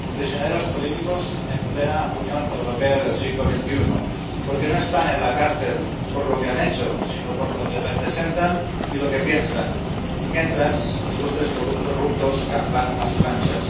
Prisioneros políticos en plena Unión Europea del siglo XXI, porque no están en la cárcel por lo que han hecho, sino por lo que representan y lo que piensan y, mientras tanto, ilustres corruptos campan a sus anchas.